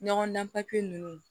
Ɲɔgɔn dan nunnu